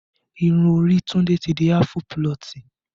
Irun orí Tunde ti di aafu pulọ̀tì